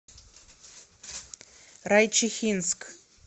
райчихинск